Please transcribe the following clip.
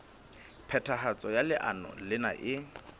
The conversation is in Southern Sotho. phethahatso ya leano lena e